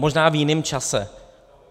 Možná v jiném čase.